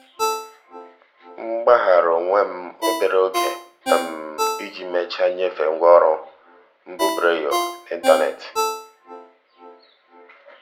m gbaghara onwe m obere oge iji mechaa nyefee ngwa ọrụ mbubreyo n'ịntanetị.